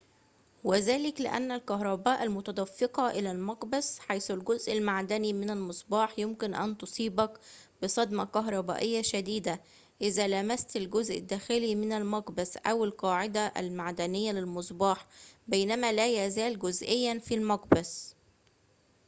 وذلك لأن الكهرباء المتدفقة إلى المقبس حيث الجزء المعدني من المصباح يمكن أن تصيبك بصدمة كهربائية شديدة إذا لمست الجزء الداخلي من المقبس أو القاعدة المعدنية للمصباح بينما لا يزال جزئياً في المقبس